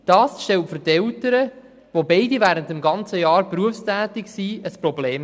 Dies stellt die Eltern, die während des ganzen Jahres berufstätig sind, vor ein Problem.